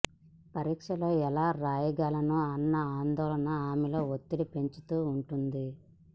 పరీక్షలో ఎలా రాయగలనో అన్న ఆందోళన ఆమెలో ఒత్తిడి పెంచుతూ ఉంటుంది